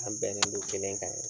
An' bɛnnen don kelen kan yan.